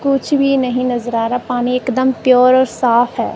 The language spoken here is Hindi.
कुछ भी नहीं नजर आ रा पानी एकदम प्योर और साफ है।